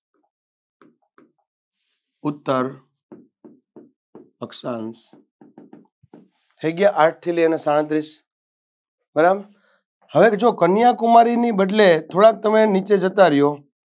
ઉત્ત અક્ષાં થઈ ગ્યાં આઠથી લઈને સાડત્રીશ બરાબર હવે જો કન્યાકુમારી ની બદલે થોડા નીચે જતા ર્યો